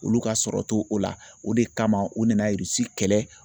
Olu ka sɔrɔ t'o o la o de kama u nana kɛlɛ